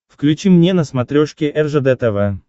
включи мне на смотрешке ржд тв